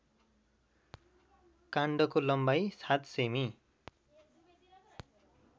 काण्डको लम्बाई ७ सेमि